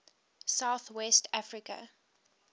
south west africa